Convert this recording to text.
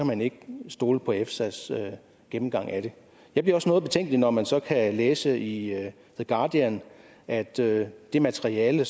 man ikke kan stole på efsas gennemgang af det jeg bliver også noget betænkelig når man så kan læse i the guardian at det det materiale